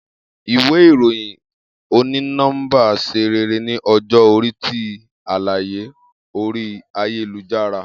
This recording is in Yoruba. Iwe iroyin oni nọmba ṣe rere ni ọjọ-ori ti alaye ori ayelujara.